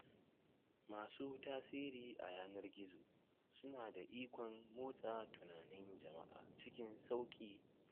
Masu tasiri a yanar gizo suna da ikon motsa tunanin jama’a cikin sauƙi.